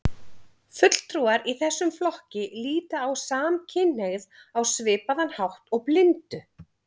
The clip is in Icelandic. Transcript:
Fulltrúar í þessum flokki líta á samkynhneigð á svipaðan hátt og blindu.